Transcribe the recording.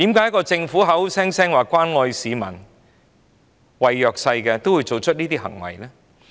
為何政府口口聲聲說關愛市民和弱勢社群，卻要做出這種行為呢？